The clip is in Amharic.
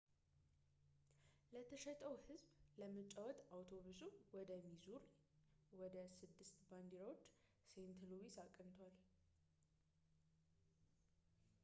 ለተሸጠው ህዝብ ለመጫወት አውቶቡሱ ወደ ሚዙሪ ወደ ስድስት ባንዲራዎች ሴንት ሉዊስ አቅንቷል